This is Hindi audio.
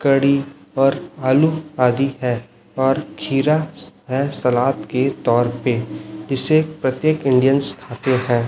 कड़ी और आलू आदि है और खीरा है सलाद के तौर पे इसे प्रत्येक इंडियनस् खाते हैं।